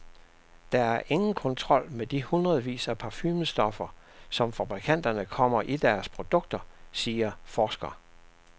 Der er ingen kontrol med de hundredvis af parfumestoffer, som fabrikanterne kommer i deres produkter, siger forsker.